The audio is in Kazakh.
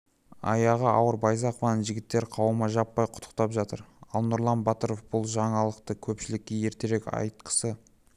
аяғы ауыр байзақованы жігіттер қауымы жаппай құттықтап жатыр ал нұрлан батыров бұл жаңалықта көпшілікке ертерек айтқысы